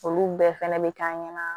Olu bɛɛ fɛnɛ be k'an ɲɛna